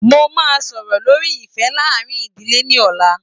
Mo máa sọ̀rọ̀ lórí ìfẹ́ láàárín ìdílé ní ọ̀la